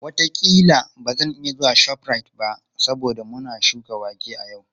Wataƙila ba zan iya zuwa ShopRite ba saboda muna shuka wake a yau.